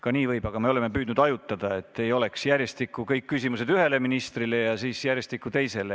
Ka nii võib, aga me oleme püüdnud hajutada, et ei oleks järjestikku kõik küsimused ühele ministrile ja siis järjestikku teisele.